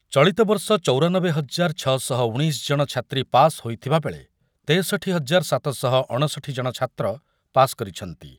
ଚଳିତବର୍ଷ ଚୌରାନବେ ହଜାର ଛ ଶହ ଉଣେଇଶ ଜଣ ଛାତ୍ରୀ ପାସ୍ ହେଇଥିବାବେଳେ ତେଶଠି ହଜାର ସାତ ଶହ ଅଣଷଠି ଜଣ ଛାତ୍ର ପାସ୍ କରିଛନ୍ତି ।